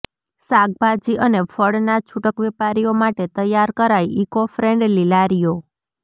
શાકભાજી અને ફળના છુટક વેપારીઓ માટે તૈયાર કરાઈ ઇકોફ્રેન્ડલી લારીઓ